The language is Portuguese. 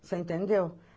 Você entendeu?